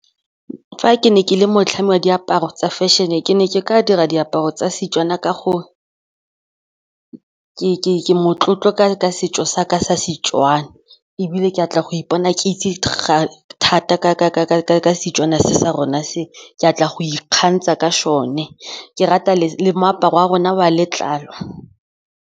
Fa ke ne ke le motlhami wa diaparo tsa fashion-e ke ne ke ka dira diaparo tsa Setswana ka gore ke motlotlo ka setso sa ka sa Setswana ebile ke batla go ipona ke itse thata ka Setswana se sa rona se, ke batla go ikgantsha ka sone. Ke rata le moaparo wa rona wa letlalo.